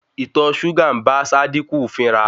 Ìtọ súgà ń bá Sádíkù fínra.